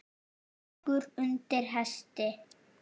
Gangur undir hesti.